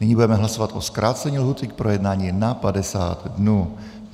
Nyní budeme hlasovat o zkrácení lhůty k projednání na 50 dnů.